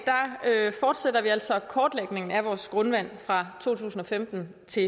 fortsætter vi altså kortlægningen af vores grundvand fra to tusind og femten til